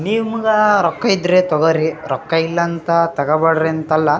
ನಿಮ್ಗ ರೊಕ್ಕ ಇದ್ರೆ ತಗೊರ್ರೀ ರೊಕ್ಕ ಇಲ್ಲ ಅಂತ ತಗೋಬೇಡ್ರಿ ಅಂತ ಅಲ್ಲ.